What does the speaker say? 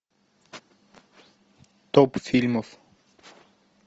топ фильмов